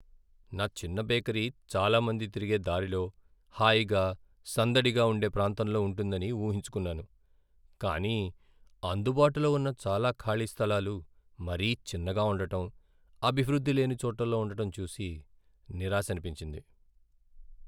నా చిన్న బేకరీ చాలా మంది తిరిగే దారిలో, హాయిగా, సందడిగా ఉండే ప్రాంతంలో ఉంటుందని ఊహించుకున్నాను, కానీ అందుబాటులో ఉన్న చాలా ఖాళీ స్థాలాలు మరీ చిన్నగా ఉండటం, అభివృద్ధి లేని చోట్లలో ఉండటం చూసి నిరాశనిపించింది.